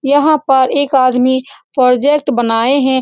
यहाँ पर एक आदमी प्रोजेक्ट बनाए हैं।